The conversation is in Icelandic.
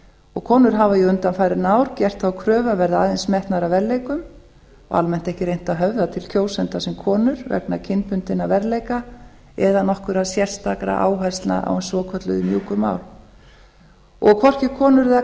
og konur hafa jú undanfarin ár gert þá kröfu að verða aðeins metnar að verðleikum og almennt ekki reynt að höfða til kjósenda sem konur vegna kynbundinna verðleika eða nokkurra sérstakra áherslna á hin svokölluðu mjúku mál hvorki konur né